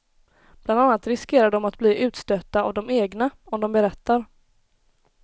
Bland annat riskerar de att bli utstötta av de egna, om de berättar.